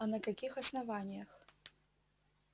а на каких основаниях